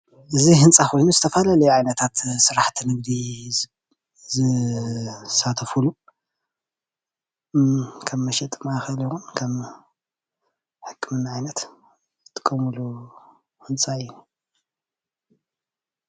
እዚ ህንፃ ኾይኑ ዝተፈላለዩ ዓይነታታት ስራሕቲ ንግዲ ዝሳተፍሉ ከም መሸጢ ማእከል ይኩን ከም ሕክምና ዓይነት ዝጥቀምሉ ህንፃ እዩ።